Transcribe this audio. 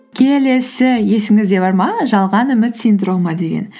келесі есіңізде бар ма жалған үміт синдромы деген